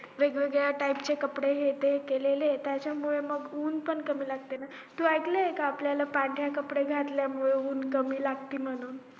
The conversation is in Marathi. वेगवेगळ्या type चे कपडे हे ते केलेले त्याच्या मुळे ऊन पण कमी लागत तू ऐकलंय का कि आपल्याला पांढरे कपडे घातल्या मुळे ऊन कमी लागत म्हणून